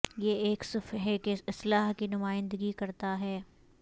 یہ ایک صفحے کی اصلاح کی نمائندگی کرتا ہے